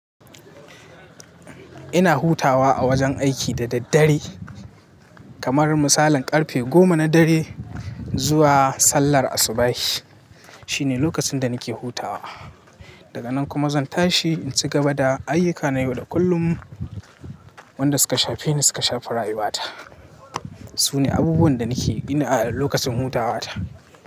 Ina hutawa a wajen aiki da daddare kamar misalin karfe goma na dare zuwa sallar asubahi. Shine lokacin da nake hutawa. Daga nan kuma zan tashi in cigaba da ayyuka na yau da kullum. Wanda suka shafeni suka shafi rayuwata Sune abubuwan da nake ina lokacin hutawa ta.